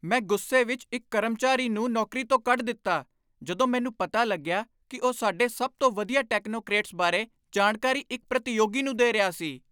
ਮੈਂ ਗੁੱਸੇ ਵਿੱਚ ਇੱਕ ਕਰਮਚਾਰੀ ਨੂੰ ਨੌਕਰੀ ਤੋਂ ਕੱਢ ਦਿੱਤਾ ਜਦੋਂ ਮੈਨੂੰ ਪਤਾ ਲੱਗਿਆ ਕਿ ਉਹ ਸਾਡੇ ਸਭ ਤੋਂ ਵਧੀਆ ਟੈਕਨੋਕਰੇਟਸ ਬਾਰੇ ਜਾਣਕਾਰੀ ਇੱਕ ਪ੍ਰਤੀਯੋਗੀ ਨੂੰ ਦੇ ਰਿਹਾ ਸੀ।